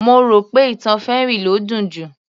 Mo rò pé ìtàn fairy ló dùn jù